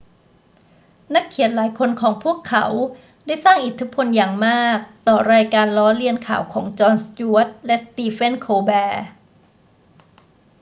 นักเขียนหลายคนของพวกเขาได้สร้างอิทธิพลอย่างมากต่อรายการล้อเลียนข่าวของจอน สจ๊วต และสตีเฟน โคลแบร์